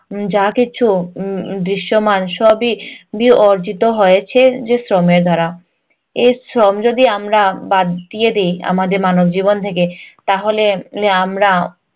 যা কিছু উম দৃশ্যমান সবই অর্জিত হয়েছে যে শ্রমের দ্বারা। এই শ্রম যদি আমরা বাদ দিয়ে দিই আমাদের মানবজীবন থেকে তাহলে এ আমরা